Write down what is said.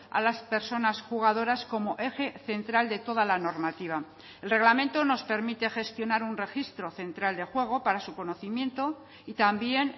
a las personas jugadoras como eje central de toda la normativa el reglamento nos permite gestionar un registro central de juego para su conocimiento y también